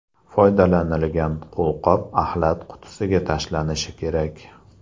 Foydalanilgan qo‘lqop axlat qutisiga tashlanishi kerak.